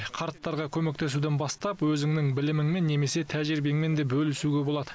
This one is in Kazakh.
қарттарға көмектесуден бастап өзіңнің біліміңмен немесе тәжірибеңмен де бөлісуге болады